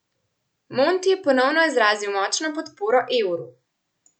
Monti je ponovno izrazil močno podporo evru.